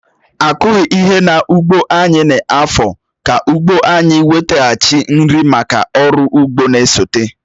Akughi ihe n'ụgbọ anyị n'afọ ka ụgbo anyị wetaghachi nri make ọrụ ugbo n'esote